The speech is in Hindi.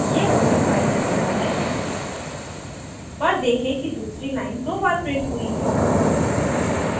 यह पूरी file दिखाता है पर देखें कि दूसरी line दो बार printed हुई है